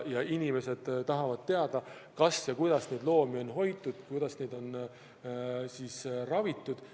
Inimesed tahavad teada, kuidas loomi on hoitud, kuidas neid on ravitud.